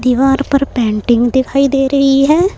दीवार पर पेंटिंग दिखाई दे रही है।